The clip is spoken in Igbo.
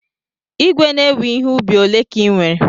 Ìgwè na-ewe ihe ubi ole ka ị nwere?